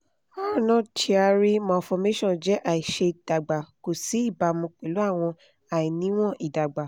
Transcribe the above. arnold chiari malformation jẹ́ àìṣé-dàgbà kò sí ìbámu pẹlu awọn àìníwọ́n ìdàgbà